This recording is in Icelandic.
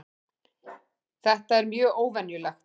Þetta er mjög óvenjulegt